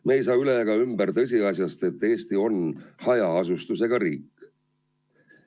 Me ei saa üle ega ümber tõsiasjast, et Eesti on hajaasustusega riik.